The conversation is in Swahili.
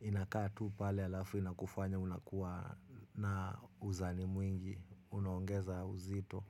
inakaa tu pale halafu na kufanya unakuwa na uzani mwingi, unaongeza uzito.